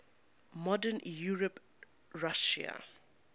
modern european russia